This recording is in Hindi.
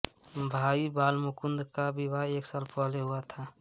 भाई बालमुकुंद का विवाह एक साल पहले ही हुआ था